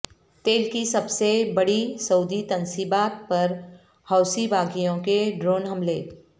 تیل کی سب سے بڑی سعودی تنصیبات پر حوثی باغیوں کے ڈرون حملے